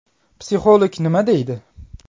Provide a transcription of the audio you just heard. Psixolog nima deydi?